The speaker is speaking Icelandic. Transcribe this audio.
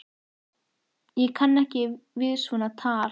Ég kann ekki við svona tal!